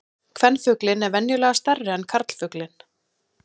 Kvenfuglinn er venjulega stærri en karlfuglinn.